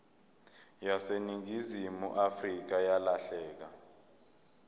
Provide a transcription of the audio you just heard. yaseningizimu afrika yalahleka